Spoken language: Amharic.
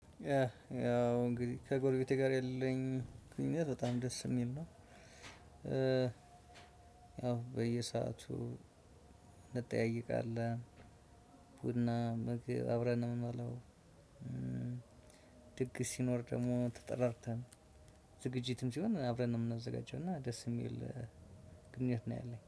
ያ ያው እንግዲህ ከጎርቤቴ ጋር ያለኝ ግንኙነት በጣም ደስ የሚል ነው። ያው በየሰአቱ እንጠያይቃለን ቡና ምግብ አብረን ነው የምንበለው። ድግስ ሲኖር ደግሞ ተጠራርተን ዝግጅትም ሲሆን አብረን ነው የምናዘጋጀው። እና ደስ የሚል ግንኙነት ነው ያለኝ